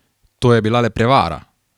To je bila le prevara!